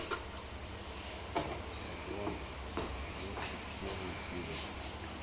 атланта двадцать первая серия